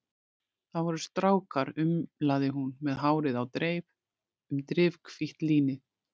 Það voru strákar, umlaði hún með hárið á dreif um drifhvítt línið.